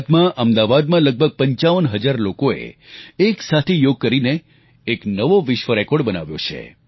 ગુજરાતમાં અમદાવાદમાં લગભગ 55 હજાર લોકોએ એક સાથે યોગ કરીને એક નવો વિશ્વ રેકોર્ડ બનાવ્યો છે